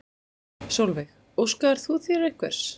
Sólveig: Óskaðir þú þér einhvers?